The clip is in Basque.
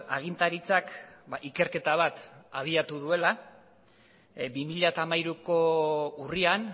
agintaritzak ikerketa bat abiatu duela bi mila hamairuko urrian